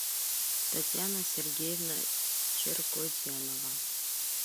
татьяна сергеевна черкозянова